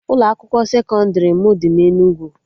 Ụlọ akwụkwọ sekọndrị m dị na Enugu